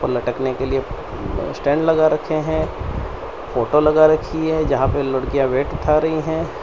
लटकने के लिए स्टैंड लगा रखे हैं फोटो लगा रखी है जहां पे लड़कियां वेट उठा रही हैं।